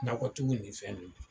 N'akotigiw nin fɛn nunnu